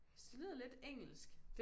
Synes det lyder lidt engelsk